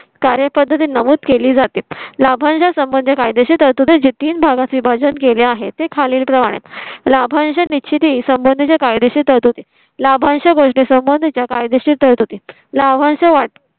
कार्यपद्धती नमूद केली जातील. लाभांश म्हणजे काय देशील तर तुझ्या चे तीन भागात विभाजन केले आहे. ते खालीलप्रमाणे लाभांशच्या निश्चिती संबंधीच्या कायदेशीर तरतुदी. लाभांश गोष्टीं संबंधीच्या कायदेशीर तरतुदी लाभांश वाटपा